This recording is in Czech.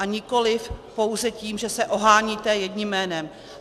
A nikoliv pouze tím, že se oháníte jedním jménem.